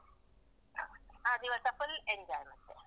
ಆ ದಿವಸ full enjoy ಮತ್ತೆ.